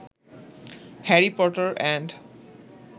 Harry Potter and